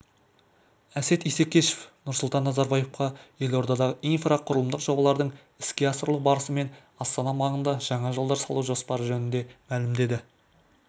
әсет исекешев нұрсұлтан назарбаевқа елордадағы инфрақұрылымдық жобалардың іске асырылу барысы мен астана маңында жаңа жолдар салу жоспары жөнінде мәлімдеді